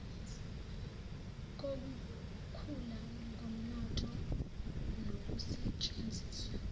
kokukhula komnotho nokusetshenziswa